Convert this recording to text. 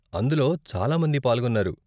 అందులో చాలా మంది పాల్గొన్నారు.